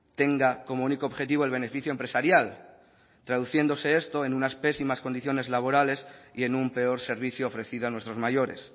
tenga como único objetivo el beneficio empresarial traduciéndose esto en unas pésimas condiciones laborales y en un peor servicio ofrecida a nuestros mayores